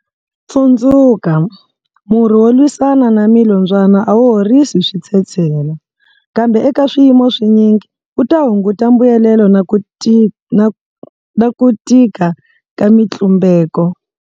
Tsundzuka, murhi wo lwisana na milombyana a wu horisi switshetshela, kambe eka swiyimo swinyingi, wu ta hunguta mbuyelelo na ku tika ka mitlumbeko.